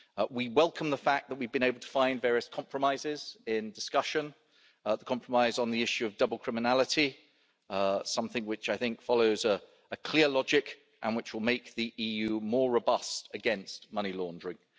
We welcome the fact that we have been able to find various compromises in discussion. I think the compromise on the issue of double criminality follows a clear logic and will make the EU more robust against money laundering.